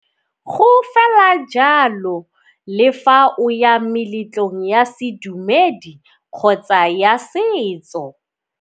Go fela jalo le fa o ya meletlong ya sedumedi kgotsa ya setso.